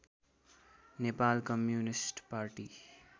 Nepal communist party